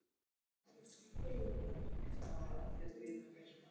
Hún bíður, sagði